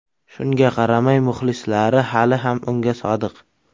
Shunga qaramay, muxlislari hali ham unga sodiq.